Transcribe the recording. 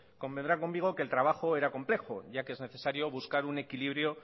convendrá conmigo que el trabajo era complejo ya que es necesario buscar un equilibrio